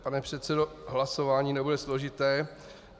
Pane předsedo, hlasování nebude složité.